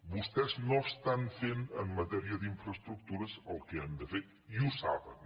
vostès no estan fent en matèria d’infraestructures el que han de fer i ho saben